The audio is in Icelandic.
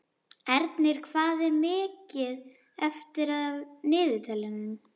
Ernir, hvað er mikið eftir af niðurteljaranum?